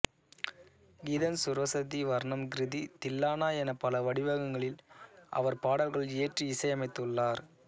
கீதம் ஸ்வரஜதி வர்ணம் கிருதி தில்லானா எனப் பல வடிவங்களில் அவர் பாடல்கள் இயற்றி இசை அமைத்துள்ளார்